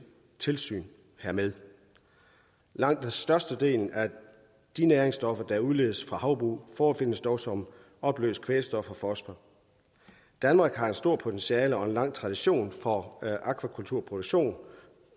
tilsyn hermed langt størstedelen af de næringsstoffer der udledes fra havbrug forefindes dog som opløst kvælstof og fosfor danmark har et stort potentiale og en lang tradition for akvakulturproduktion